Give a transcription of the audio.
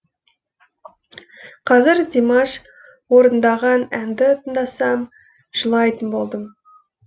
қазір димаш орындаған әнді тыңдасам жылайтын болдым